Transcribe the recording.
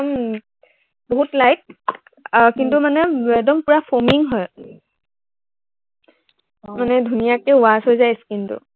একদম, বহুত light কিন্তু মানে একদম পূৰা foaming হয়। মানে ধুনীয়াকে wash হৈ যায় skin টো